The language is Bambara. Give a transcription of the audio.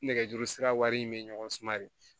Nɛgɛjuru sira wari in bɛ ɲɔgɔn se